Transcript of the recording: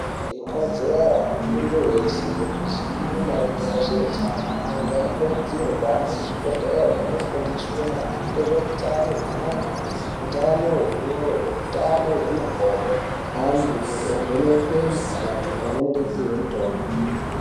Ikodzero yemuntu weshe kuziya maringe nezvehutano antu anokurudzirwa kuhambe kuzvibhedhlera vondofundiswa maringe nezvehutano hwengonxo hutano hwemoyo hutano hwemakodo antu ovhenekwa mukuhlani pamwe nekupihwa mutombo.